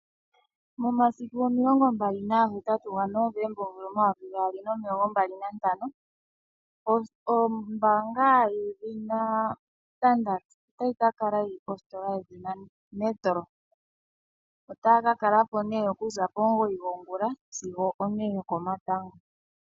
Momasiku omilongo mbali nagahetatu ga Novomba omvula omayovi gaali nomilongo mbali nantano, ombaanga yedhina Standard otayi kakala yili positola yedhina Metro. Otaya kakala po nee okuza pomugoyi gwongula sigo o ne yokomatango.